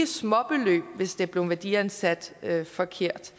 småbeløb hvis der er blevet værdiansat forkert